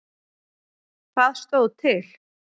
Hvað stóð til?